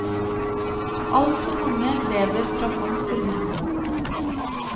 Altfor mange lever fra hånd til munn.